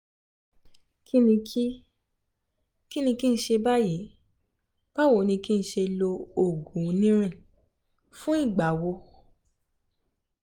kíni kí kíni kí n ṣe báyìí? báwo ni kí n ṣe lo oògùn onírin fún ìgbà wo?